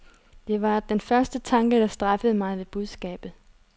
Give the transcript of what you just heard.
Det var den første tanke, der strejfede mig ved budskabet.